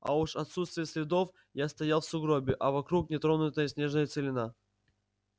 а уж отсутствие следов я стоял в сугробе а вокруг нетронутая снежная целина